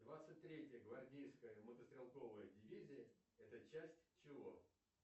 двадцать третья гвардейская мотострелковая дивизия это часть чего